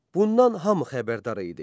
Bundan hamı xəbərdar idi.